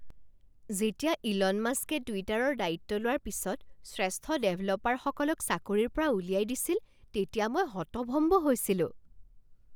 যেতিয়া ইলন মাস্কে টুইটাৰৰ দায়িত্ব লোৱাৰ পিছত শ্ৰেষ্ঠ ডেভেলপাৰসকলক চাকৰিৰ পৰা উলিয়াই দিছিল, তেতিয়া মই হতভম্ব হৈছিলোঁ।